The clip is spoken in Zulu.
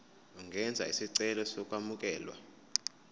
ungenza isicelo sokwamukelwa